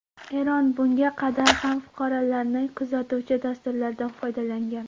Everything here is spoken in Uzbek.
Eron bunga qadar ham fuqarolarni kuzatuvchi dasturlardan foydalangan.